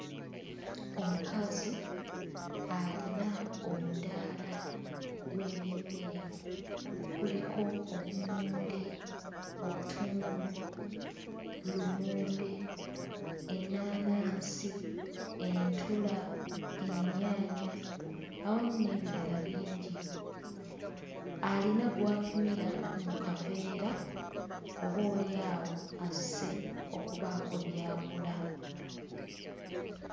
Omukazi alina omudaala gw'ebyemmere. Kuliko obummonde, obutungulu, lumonde, ennaanansi, entula, ennyaanya awamu n'ebirala bingi. Alina gw'apimira mu kaveera, oboolyawo azze okubaako by'agula.